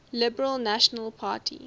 liberal national party